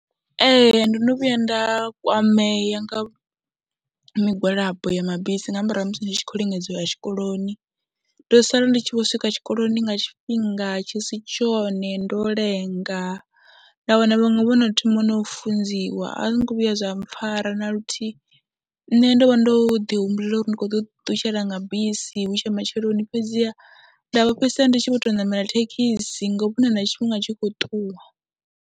Ee, ndo no vhuya nda kwamea nga migwalabo ya mabisi nga murahu ha musi ndi tshi khou lingedza u ya tshikoloni, ndo sala ndi tshi vho swika tshikoloni nga tshifhinga tshi si tshone, ndo lenga, nda wana vhaṅwe vho no thoma na u funziwa a zwi ngo vhuya zwa mpfhara na luthihi. Nṋe ndo vha ndo ḓihumbulela uri ndi khou ḓo ḓiṱutshela nga bisi hu tshe matsheloni fhedziha nda vho fhedzisela ndi tshi vho tou ṋamela thekhisi ngo vhona na tshifhinga tshi khou ṱuwa.